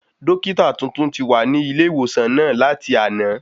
Dọ́kítà tuntun ti wà ní ilé ìwòsàn wa láti àná